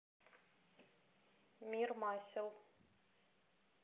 мир масел